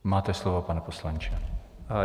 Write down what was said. Máte slovo, pane poslanče.